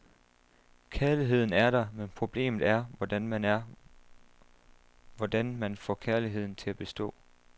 Kærligheden er der, men problemet er, hvordan man er, hvordan man får kærligheden til at bestå.